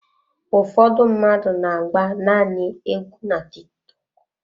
Ụfọdụ mmadụ n'agba nanị égwu na Tiktọk.